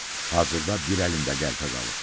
Hazırda bir əlində qəlpə qalıb.